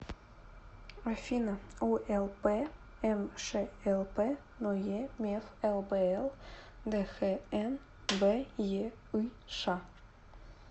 афина улпмшлп ное меф лбл дхнбеыш